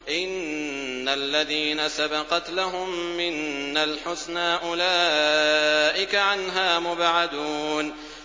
إِنَّ الَّذِينَ سَبَقَتْ لَهُم مِّنَّا الْحُسْنَىٰ أُولَٰئِكَ عَنْهَا مُبْعَدُونَ